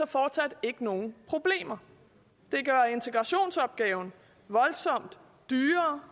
fortsat ikke nogen problemer det gør integrationsopgaven voldsomt dyrere